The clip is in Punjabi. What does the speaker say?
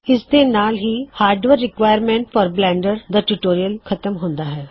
ਇਸ ਦੇ ਨਾਲ ਹਾਰਡਵੇਅਰ ਰਿਕੁਆਇਰਮੈਂਟ ਬਲੈਨਡਰ ਨੂ ਚਲਾਓੁਣ ਦੇ ਲਈ ਖਤਮ ਹੁੰਦਾ ਹੈ